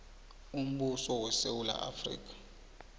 umbuso wesewula afrika